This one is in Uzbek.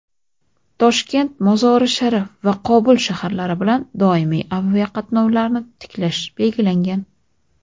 Toshkent – Mozori-Sharif va Qobul shaharlari bilan doimiy aviaqatnovlarni tiklash belgilangan.